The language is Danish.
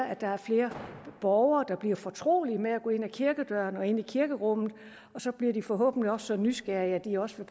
at der er flere borgere der bliver fortrolige med at gå ind ad kirkedøren og ind i kirkerummet så bliver de forhåbentlig så nysgerrige at de også